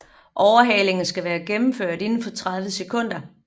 Overhalingen skal være gennemført inden for 30 sekunder